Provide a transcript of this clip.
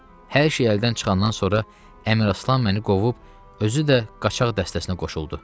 Hər şey əldən çıxandan sonra Əmraslan məni qovub, özü də qaçaq dəstəsinə qoşuldu.